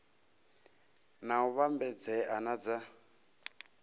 na u vhambedzea na dza